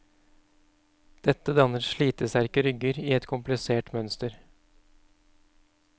Dette danner slitesterke rygger i et komplissert mønster.